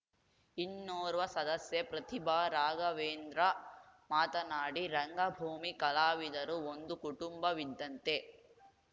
ಇನ್ನೋರ್ವ ಸದಸ್ಯೆ ಪ್ರತಿಭಾ ರಾಘವೇಂದ್ರ ಮಾತನಾಡಿ ರಂಗಭೂಮಿ ಕಲಾವಿದರು ಒಂದು ಕುಟುಂಬವಿದ್ದಂತೆ